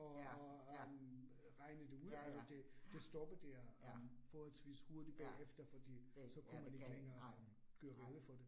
Ja, ja. Ja ja, ja, ja, ja, det, ja, kan ikke, nej, nej